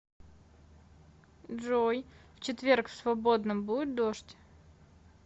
джой в четверг в свободном будет дождь